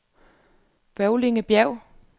Bøvlingbjerg